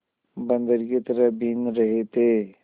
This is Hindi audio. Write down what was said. बंदर की तरह बीन रहे थे